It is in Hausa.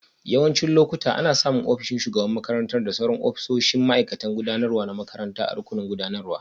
Yawancin lokuta, ana samun ofishin shugaban makarantar da sauran ofisoshin ma'aikatan gudanarwa na makaranta a rukunin gudanarwa.